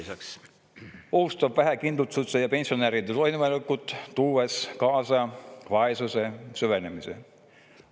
See ohustab vähekindlustatute ja pensionäride toiduvalikut, tuues kaasa vaesuse süvenemise.